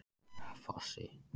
Fossi